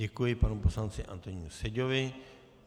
Děkuji panu poslanci Antonínu Seďovi.